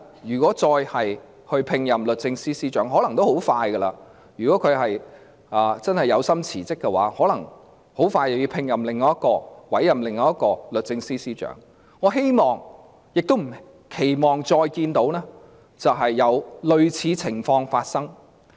如果將來再度委任律政司司長——如果鄭若驊的確有心辭職，可能很快便要委任另一位律政司司長——我希望不會再有類似情況發生。